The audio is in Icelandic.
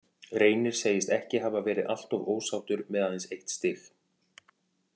Reynir segist ekki hafa verið alltof ósáttur með aðeins eitt stig.